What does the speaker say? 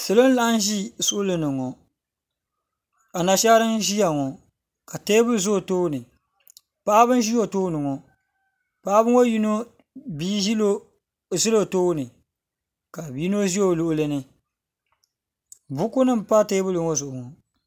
Salo n laɣim ʒi suɣulini ŋɔ a nashaara n ʒia ŋɔ ka teebuli za o too ni paɣaba ʒi o too ni ŋɔ paɣaba ŋɔ yino bia ʒila o too ni ka yino ʒi o luɣuli ni bukunim pa teebuli ŋɔ zuɣu ŋɔ.